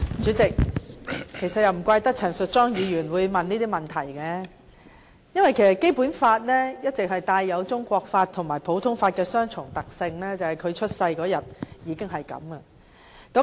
主席，其實也難怪陳淑莊議員會提出這些問題，因為《基本法》一直具備中國法和普通法的雙重特性，這由她出生那天開始已是如此。